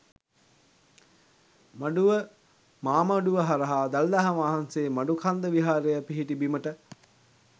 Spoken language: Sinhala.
මඩුව මාමඩුව හරහා දළදා වහන්සේ මඩුකන්ද විහාරය පිහිටි බිමට